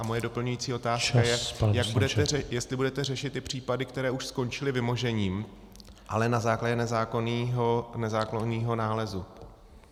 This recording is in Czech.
A moje doplňující otázka je , jestli budete řešit ty případy, které už skončily vymožením, ale na základě nezákonného nálezu.